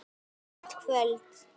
Gott kvöld.